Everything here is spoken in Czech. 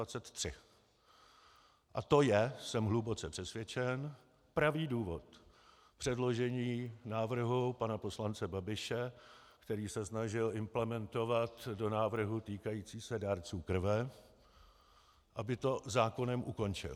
A to je, jsem hluboce přesvědčen, pravý důvod předložení návrhu pana poslance Babiše, který se snažil implementovat do návrhu týkajícího se dárců krve, aby to zákonem ukončil.